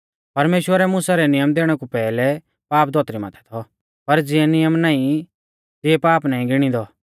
परमेश्‍वरै मुसा कै नियम दैणै कु पैहलै पाप धौतरी माथै थौ पर ज़िऐ नियम नाईं तिऐ पाप नाईं गिणीदौ